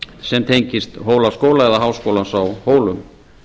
sem tengist hólaskóla eða háskólanum á hólum